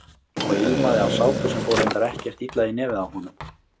Og ilmaði af sápu sem fór reyndar ekkert illa í nefið á honum.